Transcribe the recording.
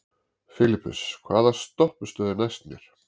Filippus, hvaða stoppistöð er næst mér?